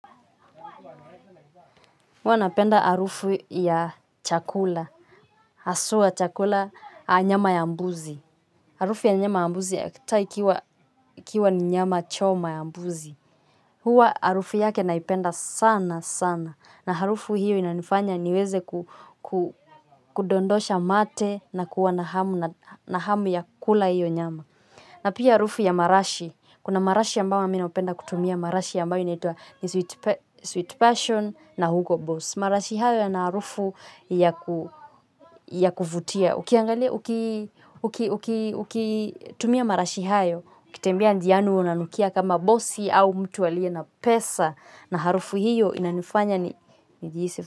Huwa napenda harufu ya chakula hasua chakula a nyama ya mbuzi harufu ya nyama ya mbuzi hata ikiwa ni nyama choma ya mbuzi huwa harufu yake naipenda sana sana na arufu hiyo inanifanya niweze kudondosha mate na kuwa na hamu ya kula hiyo nyama. Na pia harufu ya marashi. Kuna marashi ambayo mi napenda kutumia marashi ambayo inaitwa sweet passion na hugo boss. Marashi hayo yana harufu ya kuvutia. Ukitumia marashi hayo ukitembea njiani huwa unanukia kama bosi au mtu aliye na pesa na harufu hiyo inanifanya nijihisi.